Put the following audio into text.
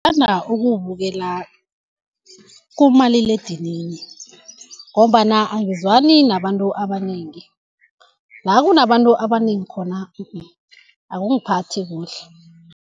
Ngithanda ukuwubukela kumaliledinini ngombana angizwani nabantu abanengi, la kunabantu abanengi khona akungiphathi kuhle.